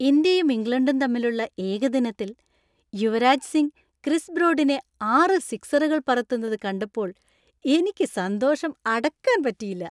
ഇന്ത്യയും ഇംഗ്ലണ്ടും തമ്മിലുള്ള ഏകദിനത്തിൽ യുവരാജ് സിംഗ് ക്രിസ് ബ്രോഡിനെ ആറ് സിക്‌സറുകൾ പറത്തുന്നത് കണ്ടപ്പോൾ എനിക്ക് സന്തോഷം അടക്കാൻ പറ്റിയില്ല .